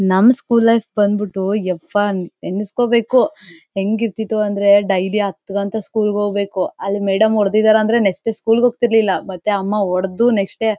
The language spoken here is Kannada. ನಮ್ ಸ್ಕೂಲ್ ಲೈಫ್ ಬಂದ್ಬಿಟ್ಟು ಯಬ್ಬಾ ಏಣಿಸ್ಕೊಬೇಕು ಹೆಂಗ ಇರತ್ತಿತು ಅಂತ ಅಂದ್ರೆ ಡೈಲಿ ಹತ್ ಗಂಟೆಗ್ ಸ್ಕೂಲಿಗ್ ಹೋಗ್ಬೇಕು ಅಲ್ಲಿ ಮೇಡಂ ಹೊಡ್ದಿದಾರೆ ಅಂದ್ರೆ ನೆಕ್ಸ್ಟ್ ಡೇ ಸ್ಕೂಲಿಗ್ ಹೋಗ್ತಾ ಇರ್ಲಿಲ್ಲ ಮತ್ತೆ ಅಮ್ಮ ಹೊಡೆದು ನೆಕ್ಸ್ಟ್ ಡೇ --